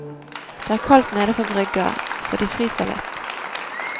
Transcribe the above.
Det er kaldt nede på brygga, så de fryser litt.